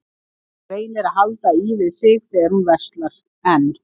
Hún reynir að halda í við sig þegar hún verslar en